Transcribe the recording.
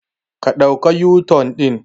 Ƙa ɗauka u-turn din.